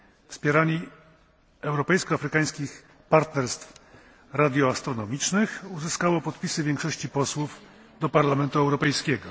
wspieranie europejsko afrykańskich partnerstw radioastronomicznych uzyskało podpisy większości posłów do Parlamentu Europejskiego.